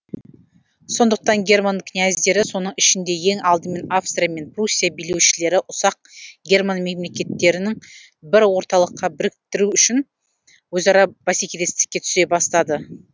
сондықтан герман князьдері соның ішінде ең алдымен австрия мен пруссия билеушілері ұсақ герман мемлекеттерін бір орталыққа біріктеру үшін өзара бәсекелестікке түсе бастады